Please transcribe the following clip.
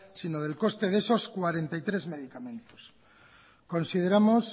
si no del coste de esos cuarenta y tres medicamentos consideramos